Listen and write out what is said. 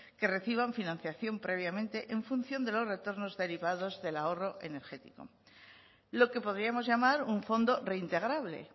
que reciban financiación previamente en función de los retornos derivados del ahorro energético lo que podríamos llamar un fondo reintegrable